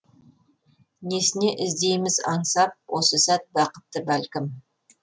несіне іздейміз аңсап осы сәт бақытты бәлкім